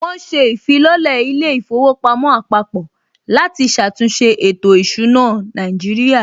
Wọn ṣe ìfilọ́lẹ̀ ilé īfowòpamó àpapò láti ṣàtúnṣe ètò ìsúná Nàíjírìà